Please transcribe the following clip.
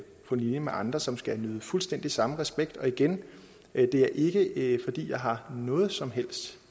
på linje med andre som skal nyde fuldstændig samme respekt og igen det er ikke ikke fordi jeg har noget som helst